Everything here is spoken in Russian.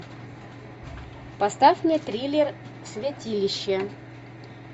поставь мне триллер святилище